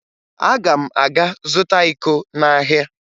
Aga m aga zụta iko n'ahịa